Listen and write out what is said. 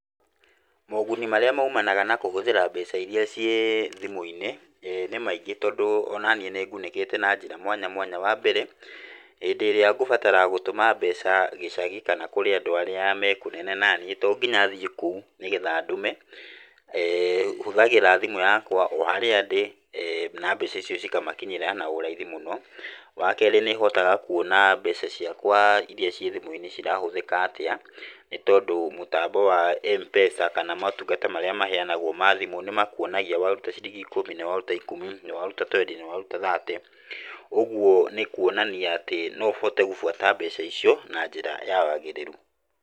Moguni marĩa maumanaga na kũhũthĩra mbeca iria ciĩ thimu-inĩ, ĩĩ nĩ maingĩ tondũ onaniĩ nĩ ngunĩkĩte na njĩra mwanya mwanya. Wambere, hĩndĩ ĩrĩa ngũbatara gũtũma mbeca gĩcagi kana kũrĩ andũ arĩa me kũnene naniĩ, tonginya thiĩ kũu nĩgetha ndũme, hũthagĩra thimũ yakwa o harĩa ndĩ na mbeca icio cikamakinyĩra na ũraithi mũno. Wakerĩ nĩhotaga kwona mbeca ciakwa iria ciĩ thimũ-inĩ cirahũthĩka atĩa, nĩtondũ mũtambo wa mpesa kana maũtungata marĩa mahũthagĩrwo ma thimũ nĩmakuonagia waruta ciringi ikũmi, nĩwaruta ikũmi, nĩ waruta twendi, nĩwaruta thate. Ũgwo nĩ kwonania atĩ noũhote gũbuata mbeca icio na njĩra ya wagĩrĩru.